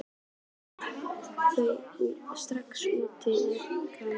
Eru þau strax úr sér gengin?